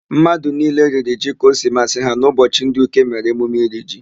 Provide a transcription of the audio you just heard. Mmadụ niile riri ji ka o si masị ha n'ụbọchị ndị Uke mere emume iri ji.